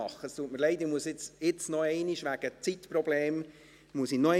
Es tut mir leid, es ist nicht die Art, wie ich es gerne mache.